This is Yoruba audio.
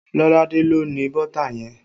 Lolade ló ni bọ́tà yẹn